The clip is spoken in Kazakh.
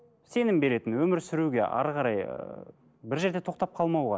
сенім беретін өмір сүруге әрі қарай ы бір жерде тоқтап қалмауға